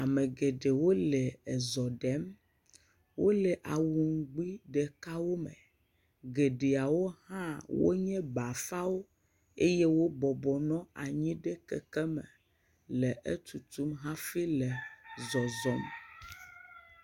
ame geɖewo le ezɔ ɖem wole awu ŋgbi ɖekawo me, geɖeawo hã wonye bafawo eye bɔbɔnɔ anyi ɖe keke me le etutum hafi ke zɔzɔm.